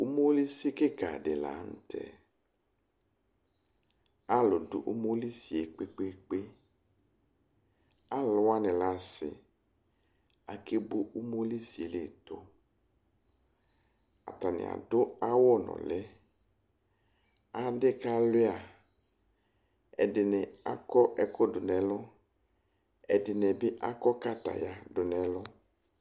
umolisi kikadi lanutɛ kaaludu umolisie kpe kpe kpee aluwani asɛɛbo umolisiedu atani adʋ awʋ nuliɛ adikalʋia adini akɔ ɛkʋdʋ nu ɛlʋ ɛdinibi akɔ katayadu nɛlʋ